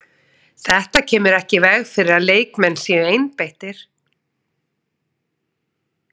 Þetta kemur ekki í veg fyrir að leikmenn séu einbeittir.